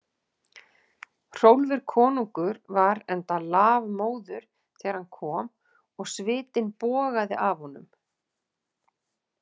Hrólfur konungur var enda lafmóður þegar hann kom og svitinn bogaði af honum.